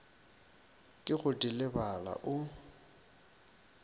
ke go di lebala o